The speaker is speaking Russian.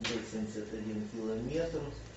восемьдесят один километр